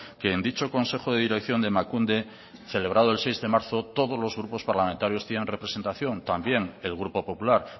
que en dicho consejo de dirección de emakunde celebrado el seis de marzo todos los grupos parlamentarios tienen representación también el grupo popular